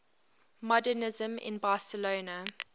modernisme in barcelona